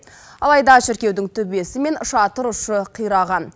алайда шіркеудің төбесі мен шатырұшы қираған